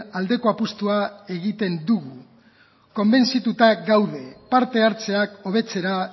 aldeko apustua egiten dugu konbentzituta gaude parte hartzeak hobetzera